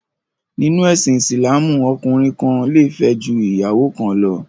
Nínú ẹ̀sìn Ìsìlámù, ọkùnrin kan le fẹ́ ju ìyàwó kan lọ.